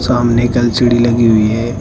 सामने एक एल_सी_डी लगी हुई है।